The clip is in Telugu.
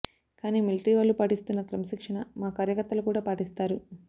కానీ మిలిటరీ వాళ్లు పాటిస్తున్న క్రమశిక్షణ మా కార్యకర్తలు కూడా పాటిస్తారు